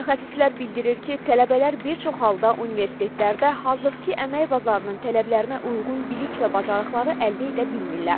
Mütəxəssislər bildirir ki, tələbələr bir çox halda universitetlərdə hazırki əmək bazarının tələblərinə uyğun bilik və bacarıqları əldə edə bilmirlər.